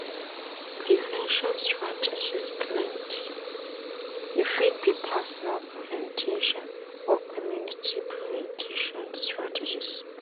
Prevention strategies plenty, e fit be personal prevention or community prevention strategies